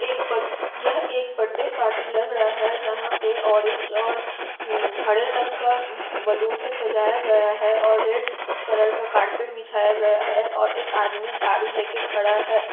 एक यह एक बर्थडे पार्टी लग रहा है जहाँ पर ऑरेंज और हरे रंग का बैलून से सजाया गया है और रेड कलर का कारपेट बिछाया गया है और एक आदमी झाड़ू लेकर खड़ा हैं।